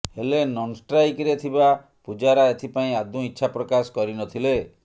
ହେଲେ ନନ୍ଷ୍ଟ୍ରାଇକରେ ଥିବା ପୂଜାରା ଏଥିପାଇଁ ଆଦୌ ଇଚ୍ଛା ପ୍ରକାଶ କରି ନଥିଲେ